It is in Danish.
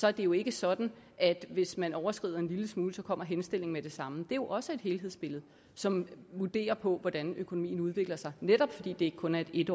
er det jo ikke sådan at hvis man overskrider en lille smule kommer henstillingen med det samme det er jo også et helhedsbillede som vurderes på hvordan økonomien udvikler sig netop fordi det ikke kun er et